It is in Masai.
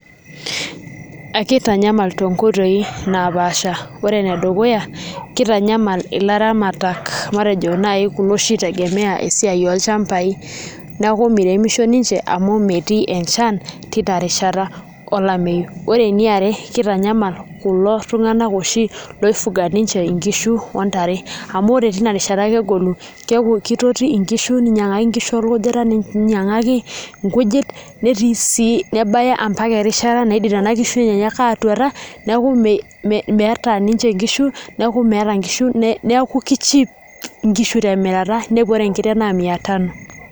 akitinyamal too inkoitoi naapasha koree ene dukuya kitanyamal ilaramatak matejo naii kuna oshii na tegemea esiai olchambai niaku meirimisho ninche amuu metii enchan terishata olameyu koree eniare keitanyamal kulo tunganak oshii oifuga inkishu ohh ntare amuu koree teina rishata kegolu keaku keitotii nkishu kinyangakini orkujita netii sii nebaya oombaka erishata nenaa kishu enyeenyak aatutuata neaku meaata niche nkishu neaku meata nkishu temirata ke cheap